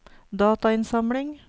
datainnsamling